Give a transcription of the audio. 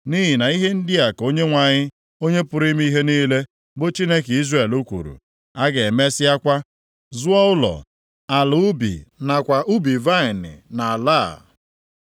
Nʼihi na ihe ndị a ka Onyenwe anyị, Onye pụrụ ime ihe niile, bụ Chineke Izrel kwuru, a ga-emesịakwa zụọ ụlọ, ala ubi nakwa ubi vaịnị nʼala a.’